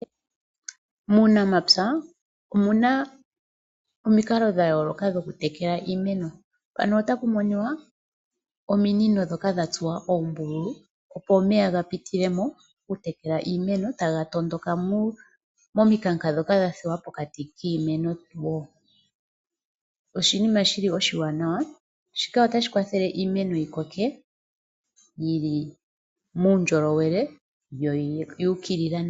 Muunamapya omu na omikalo dha yooloka dhokutekela iimeno. Mpaka ota pu monika ominino dha tsuwa oombululu, opo omeya ga pite mo, ga vule okukungulukila piimeno okupitila momikanka ndhoka dha thigwa po pokati kiimeno. Shika oshinima shi li oshiwanawa na otashi kwatha iimeno opo yi koke yi li muundjolowele yo oya ukilila nawa.